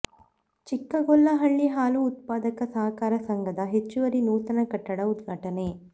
ಚಿಕ್ಕಗೊಲ್ಲಹಳ್ಳಿ ಹಾಲು ಉತ್ಪಾದಕರ ಸಹಕಾರ ಸಂಘದ ಹೆಚ್ಚುವರಿ ನೂತನ ಕಟ್ಟಡ ಉದ್ಘಾಟನೆ